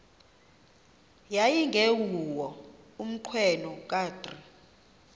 yayingenguwo umnqweno kadr